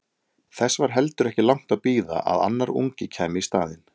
Þess var heldur ekki langt að bíða að annar ungi kæmi í staðinn.